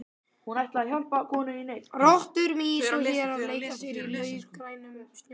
Rottur, mýs og hérar leika sér í laufgrænum snjónum.